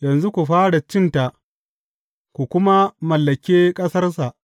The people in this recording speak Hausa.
Yanzu ku fara cinta, ku kuma mallake ƙasarsa.